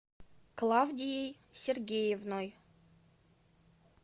клавдией сергеевной